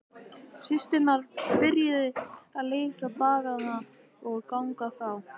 Systurnar byrjuðu að leysa baggana og ganga frá.